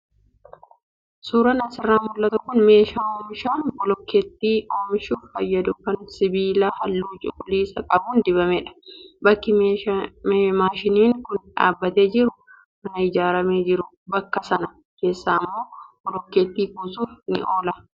Suuraan asirraa mul'atu kun meeshaa oomisha bilookkeettii oomishuuf fayyadu kan sibiila halluu cuquliisa qabuun dibamedha. Bakki maashiniin kun dhaabbatee jiru mana ijaaramee jiru bakka sana keessa immoo bilookkeettii kuusuuf ni oola.